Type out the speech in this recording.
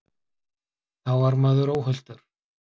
Þá var maður óhultur.